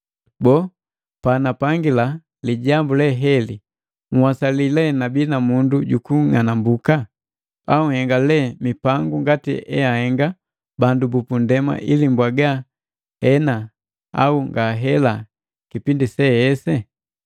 Boo, panapangila lijambu leheli, nhwasali lee nabii na mundu jukung'anambuka? Au nhenga lee mipangu ngati eahenga bandu bupundema ili mbwaga, “Hena, au ngahela” kipindi sese?